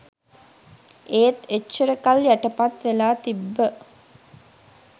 ඒත් එච්චර කල් යටපත් වෙලා තිබ්බ